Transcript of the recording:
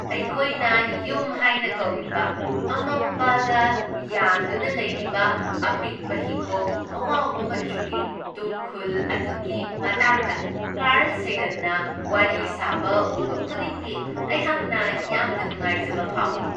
ꯑꯩꯈꯣꯏꯅ ꯌꯨꯝ ꯍꯥꯏꯅ ꯀꯧꯔꯤꯕ ꯑꯃꯝꯕꯗ ꯌꯥꯟꯗꯨꯅ ꯂꯩꯔꯤꯕ ꯑꯄꯤꯛꯄ ꯍꯤꯒꯣꯛ ꯑꯋꯥꯎꯕ ꯃꯆꯨꯒꯤ ꯇꯨꯝꯈꯨꯜ ꯑꯗꯨꯒꯤ ꯃꯇꯥꯡꯗ ꯀꯥꯔ꯭ꯜ ꯁꯦꯒꯟꯅ ꯋꯥꯔꯤ ꯁꯥꯕ ꯎꯕ ꯈꯨꯗꯤꯡꯒꯤ ꯑꯩꯍꯥꯛꯅ ꯌꯥꯝꯅ ꯅꯨꯡꯉꯥꯏꯖꯕ ꯐꯥꯎꯏ ꯫